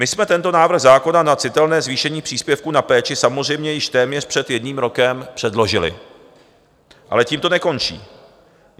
My jsme tento návrh zákona na citelné zvýšení příspěvku na péči samozřejmě již téměř před jedním rokem předložili, ale tím to nekončí.